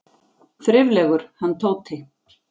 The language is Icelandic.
Þriflegur, hann Tóti!